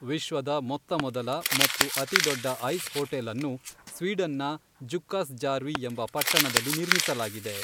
ವಿಶ್ವದ ಮೊತ್ತ ಮೊದಲ ಮತ್ತು ಅತಿದೊಡ್ಡ ಐಸ್ ಹೋಟೆಲ್ಅನ್ನು ಸ್ವೀಡನ್‌ನ ಜುಕ್ಕಾಸ್ ಜಾರ್ವಿ ಎಂಬ ಪಟ್ಟಣದಲ್ಲಿ ನಿರ್ಮಿಸಲಾಗಿದೆ